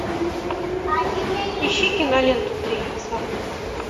ищи киноленту три лица